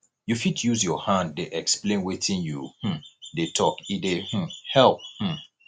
you fit use your hand dey explain wetin you um dey tok e dey um help um